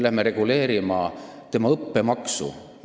Me reguleerime õppemaksu.